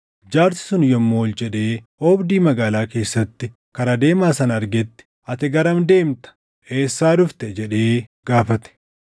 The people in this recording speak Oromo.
Jaarsi sun yommuu ol jedhee oobdii magaalaa keessatti kara deemaa sana argetti, “Ati garam deemta? Eessaa dhufte?” jedhee gaafate.